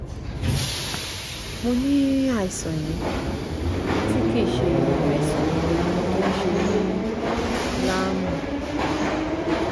mo ní àìsàn yìí tí kì í ṣe àìsàn tó ń ṣe mí láàmú